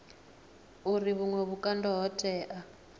uri vhuṅwe vhukando ho tea